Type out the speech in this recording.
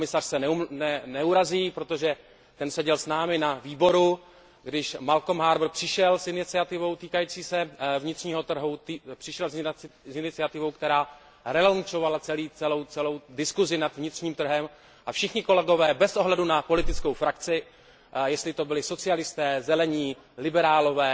Pan komisař se neurazí, protože ten seděl s námi na výboru, když Malcolm Harbour přišel s iniciativou týkající se vnitřního trhu, přišel s iniciativou, která znovu otevřela celou diskusi nad vnitřním trhem, a všichni kolegové, bez ohledu na politickou frakci, jestli to byli socialisté, zelení, liberálové,